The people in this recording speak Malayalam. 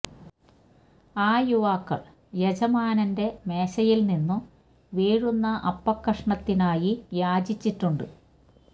ആ യുവാക്കള് യജമാനന്റെ മേശയില് നിന്നു വീഴുന്ന അ പ്പക്കഷണത്തിനായി യാചിച്ചിട്ടുണ്ട്